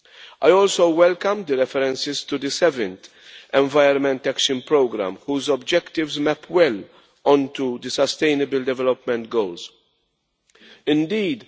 I also welcome the references to the 7th Environment Action Programme, whose objectives map well on to the sustainable development goals Indeed,